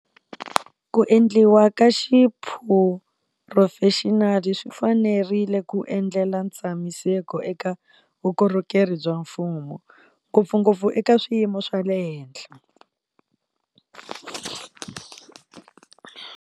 Ku endliwa ka xiphurofexinali swi fanerile ku endlela ntshamiseko eka vukorhokeri bya mfumo, ngopfungopfu eka swiyimo swa le henhla.